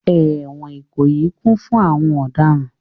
Ẹ̀wọ̀n Ikoyi kún fún àwọn ọ̀daràn